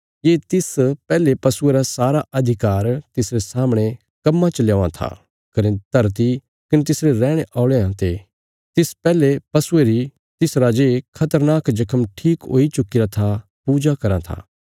ये तिस पैहले पशुये रा सारा अधिकार तिसरे सामणे कम्मां च ल्यौआं था कने धरती कने तिसरे रैहणे औल़यां ते तिस पैहले पशुये री तिस राजे खतरनाक जख्म ठीक हुई चुक्कीरा था पूजा कराँ था